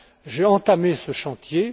J'ai entamé ce chantier.